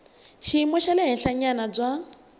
xiyimo xa le henhlanyana bya